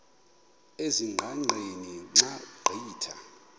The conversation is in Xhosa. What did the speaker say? ezingqaqeni xa ugqitha